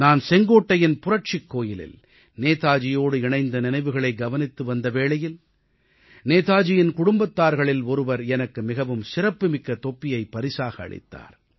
நான் செங்கோட்டையின் புரட்சிக் கோயிலில் நேதாஜியோடு இணைந்த நினைவுகளை கவனித்து வந்த வேளையில் நேதாஜியின் குடும்பத்தார்களில் ஒருவர் எனக்கு மிகவும் சிறப்புமிக்க தொப்பியைப் பரிசாக அளித்தார்